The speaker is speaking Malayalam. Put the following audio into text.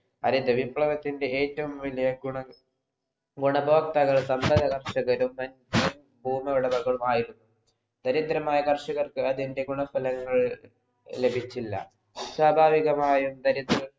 ഹരിത വിപ്ലവത്തിൻ്റെ ഏറ്റവും വലിയ ഗുണം ഉപഭോക്താക്കൾ തമ്മിൽ ഭൂവിളവുകളുമായിരുന്നു ദരിദ്രൻമാരായ കർഷകർക്ക് അതിൻ്റെ ഗുണസ്ഥലങ്ങൾ ലഭിചില്ല സ്വാഭാവികമായും ദരിദ്രർ